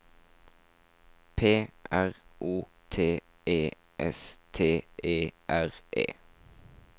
P R O T E S T E R E